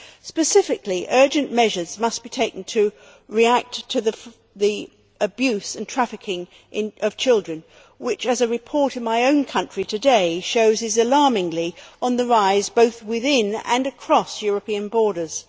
Specifically, urgent measures must be taken to react to the abuse and trafficking of children, which, as a report in my own country today shows, is alarmingly on the rise both within and across European borders.